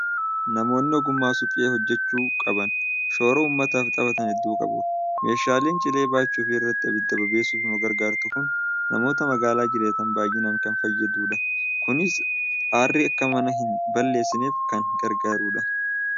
Namoonni ogummaa suphee hojjechuu qaban, shoora uummataaf taphatan hedduu qabu. Meeshaan cilee baachuu fi irratti abidda bobeessuuf nu gargaartu kun namoota magaalaa jiraatan baay'inaan kan fayyaddudha. Kunis aarri akka mana hin balleessineef kan gargaarudha.